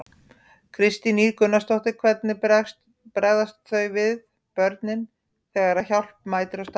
Kristín Ýr Gunnarsdóttir: Hvernig bregðast þau við, börnin, þegar að hjálp mætir á staðinn?